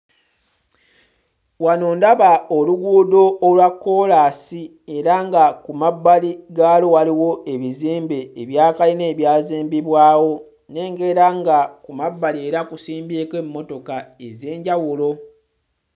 Wano ndaba oluguudo olwa kkoolaasi era nga ku mabbali gaalwo waliwo ebizimbe ebya kalina ebyazimbibwawo. Nnengera nga ku mabbali era kusimbyeko emmotoka ez'enjawulo.